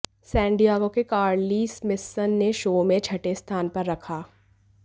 San Diego के Carly Smithson ने show में छठे स्थान पर रखा